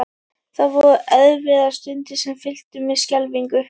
Það voru erfiðar stundir sem fylltu mig skelfingu.